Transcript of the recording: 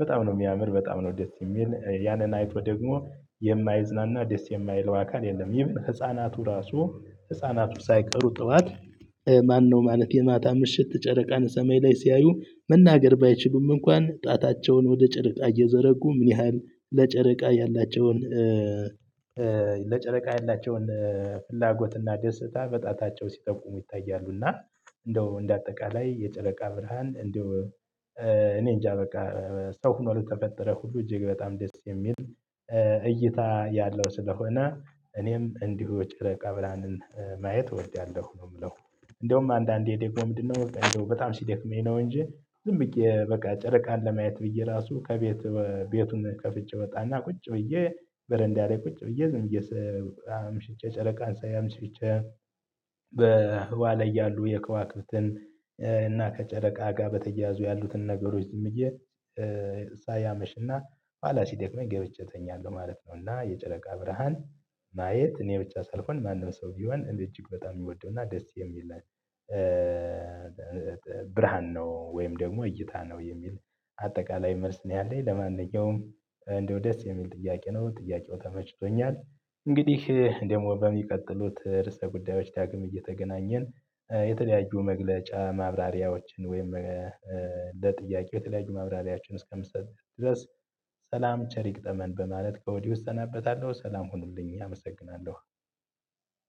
በጣም ነው የሚያምር በጣም ነው ደስ የሚል ያንን አይቶ ደግሞ የማይዝናና ደስ የማይለው አካል የለም። ህፃናቱ ራሱ ህፃናቱ ሳይቀሩ ጥዋት ማነው ማለት የማታ ምሽት ጨረቃን ሰማይ ላይ ሲያዩ መናገር ባይችሉም እንኳን ጣታቸውን ወደ ጨረቃ እየዘረጉ ምን ያህል ለጨረቃ ያላቸውን ለጨረቃ የላቸውን ፍላጎትና ደስታ በጣታቸው ሲጠቁሙ ይታያሉ። እና እንደው እንደ አጠቃላይ የጨረቃ ብርሃን እንደው እኔ እንጃ በቃ ሰው ሆኖ ለተፈጠረ ሁሉ እጅግ በጣም ደስ የሚል እይታ ያለው ስለሆነ እኔም እንዲሁ ጨረቃ ብርሃንን ማየት እወድዳለሁ ነው የምለው። እንደውም አንዳንዴ ደሞ ምንድነው በቃ እንደው በጣም ሲደክመኝ ነው እንጂ ዝም ብዬ በቃ ጨረቃን ለማየት ብዬ ራሱ ከቤቱ ቤቱን ከፍቸ ወጣና ቁጭ ብዬ በረንዳ ላይ ቁጭ ብዬ ዝም ብዬ ሰው አምሽቼ ጨረቃን ሳይ አምሽቼ። በህዋ ላይ ያሉ የከዋክብትን እና ከጨረቃ ጋር በተያያዙ ያሉትን ነገሮች ዝም ብዬ ሳይ አመሽና ኋላ ሲደክመኝ ገብቸ ተኛለሁ ማለት ነው። እና የጨረቃ ብርሃን ማየት እኔ ብቻ ሳልሆን ማንም ሰው ቢሆን እጅግ በጣም የሚወደው እና ደስ የሚል ብርሃን ነው። ወይም ደግሞ እይታ ነው የሚል አጠቃላይ መልስ ነው ያለኝ ለማንኛውም። እንደው ደስ የሚል ጥያቄ ነው ጥያቄው ተመችቶኛል። እንግዲህ ደግሞ በሚቀጥሉት ርዕሰ ጉዳዮች ታግም እየተገናኘን የተለያዩ መግለጫ ማብራሪያዎችን ወይም ለጥያቄ የተለያዩ ማብራሪያዎችን እስከ ምሰጥ ድረስ ሰላም ቸር ይግጠመን በማለት ከወዲህ እሰናበታለሁ ሰላም ሁኑልኝ አመሰግናለሁ።